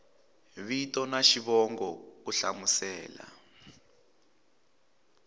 vito na xivongo ku hlamusela